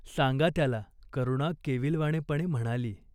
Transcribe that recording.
सांगा त्याला." करुणा केविलवाणेपणे म्हणाली.